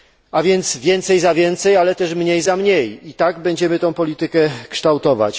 A więc więcej za więcej, ale też mniej za mniej tak będziemy tę politykę kształtować.